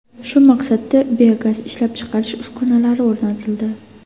Shu maqsadda biogaz ishlab chiqarish uskunalari o‘rnatildi.